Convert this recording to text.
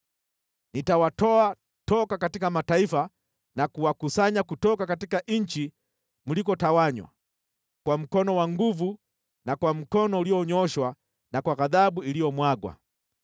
Nitawatoa toka katika mataifa na kuwakusanya kutoka nchi mlikotawanywa, kwa mkono wa nguvu na kwa mkono ulionyooshwa na kwa ghadhabu iliyomwagwa.